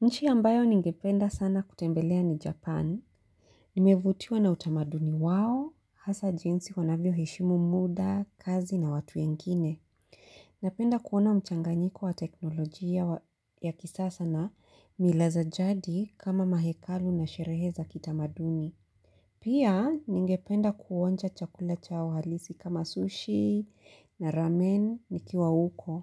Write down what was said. Nchi ambayo ningependa sana kutembelea ni Japan. Nimevutiwa na utamaduni wao, hasa jinsi wanavyoheshimu muda, kazi na watu wengine. Napenda kuona mchanganyiko wa teknolojia ya kisasa na mila za jadi kama mahekalu na sherehe za kitamaduni. Pia ningependa kuonja chakula chao halisi kama sushi na ramen nikiwa huko.